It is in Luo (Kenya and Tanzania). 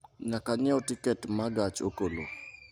Nyaka anyiew tiket ma gach okolo